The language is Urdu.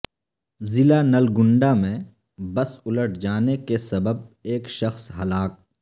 ضلع نلگنڈ ہ میں بس الٹ جانے کے سبب ایک شخص ہلاک